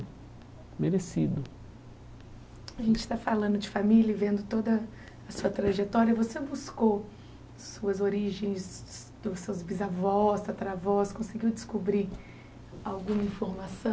Merecido A gente está falando de família e vendo toda a sua trajetória, você buscou suas origens dos seus bisavós, tataravós, conseguiu descobrir alguma informação?